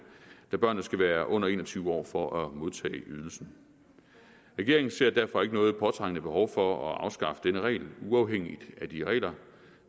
da børnene skal være under en og tyve år for at modtage ydelsen regeringen ser derfor ikke noget påtrængende behov for at afskaffe denne regel uafhængigt af de regler